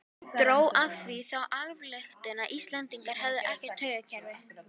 Dró af því þá ályktun að Íslendingar hefðu ekkert taugakerfi.